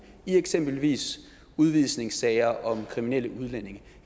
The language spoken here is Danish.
i eksempelvis udvisningssager om kriminelle udlændinge